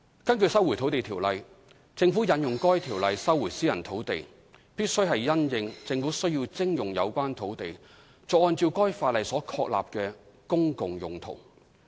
根據《收回土地條例》，政府引用該條例收回私人土地，必須是因應政府需要徵用有關土地作按照該法例所確立的"公共用途"。